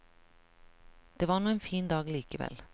Det var nå en fin dag likevel.